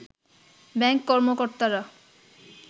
bank কর্মকর্তারা